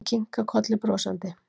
Hún kinkar kolli brosandi.